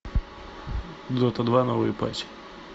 дота два новый патч